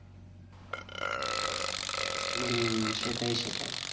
হম সেটাই সেটাই।